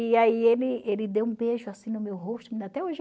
E aí ele ele deu um beijo assim no meu rosto